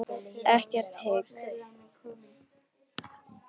Ekkert hik.